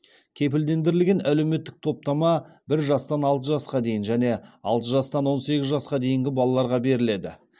кепілдендірілген әлеуметтік топтама бір жастан алты жасқа дейін және алты жастан он сегіз жасқа дейінгі балаларға беріледі